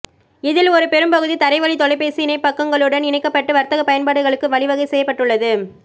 இதில் ஒரு பெரும் பகுதி தரைவழி தொலைபேசி இணைப்பகங்களுடன் இணைக்கப்பட்டு வர்த்தகப் பயன்பாடுகளுக்கு வழிவகை செய்யப்பட்டுள்ளது